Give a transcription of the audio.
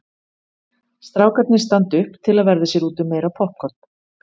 Strákarnir standa upp til að verða sér úti um meira poppkorn.